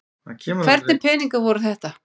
Hvernig peningar voru þetta?